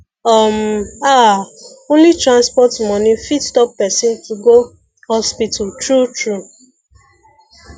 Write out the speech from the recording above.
um ah only transport money fit stop person to go hospital true true